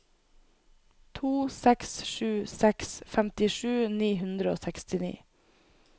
to seks sju seks femtisju ni hundre og sekstini